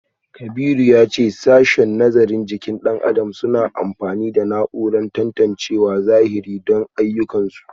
Kabiru ya ce a sashen nazarin jikin dan adam suna amfani da na’urar tantancewa a zahiri don ayyukansu